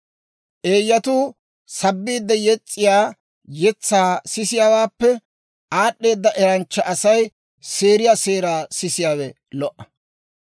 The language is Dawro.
Eeyyatuu sabbiide yes's'iyaa yetsaa sisiyaawaappe, aad'd'eeda eranchcha Asay seeriyaa seeraa sisiyaawe lo"a.